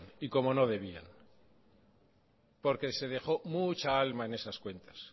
y como no debían porque se dejo mucha alma en esas cuentas